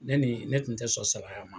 Ne ni ne tun tɛ sɔn salaya ma